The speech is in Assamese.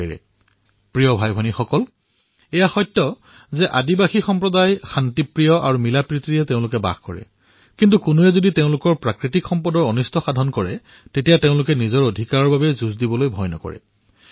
মোৰ মৰমৰ ভাতৃভগ্নীসকল এয়া সত্য যে আদিবাসী সম্প্ৰদায়সকলে অতিশয় শান্তিপূৰ্ণ আৰু নিজৰ মাজত মিলিজুলি বাস কৰে কিন্তু যেতিয়া কোনোবাই তেওঁলোকৰ প্ৰাকৃতিক সংসাধনৰ ক্ষতি কৰিলে তেওঁলোকেও নিজৰ অধিকাৰৰ বাবে যুদ্ধ কৰিবলৈ পিছ নোহঁহকে